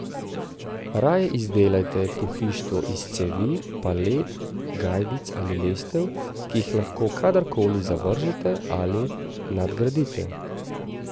Raje izdelajte pohištvo iz cevi, palet, gajbic ali lestev, ki jih lahko kadarkoli zavržete ali nadgradite.